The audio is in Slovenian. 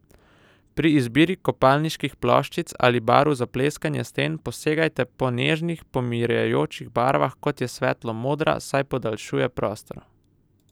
Pri izbiri kopalniških ploščic ali barv za pleskanje sten posegajte po nežnih, pomirjajočih barvah, kot je svetlo modra, saj podaljšuje prostor.